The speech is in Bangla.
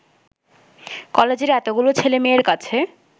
কলেজের এতগুলো ছেলেমেয়ের কাছে